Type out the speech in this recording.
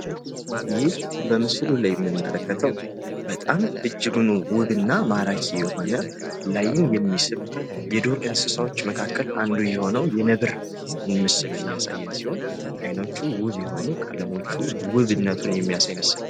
ይህ በምስሉ ላይ የምንመለከተው በጣም እጅጉን ውብና ማራኪ የሆነ ለአይን የሚስብ የዱር እንስሳቶች መካከል አንዱ የሆነው የነብር ምስል የሚያሳየን ሲሆን አይኖቹ ውብ የሆኑ ቀለሞቹም ውብነቱን የሚያሳይ ምስል ነው።